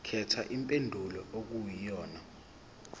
khetha impendulo okuyiyona